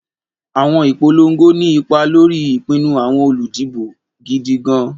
Àwọn ìpolongo ní ipa lórí ìpinnu àwọn olùdìbò gidi gan-an.